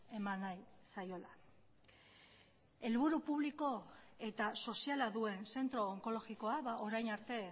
eman nahi zaiola helburu publiko eta soziala duen zentro onkologikoa orain arte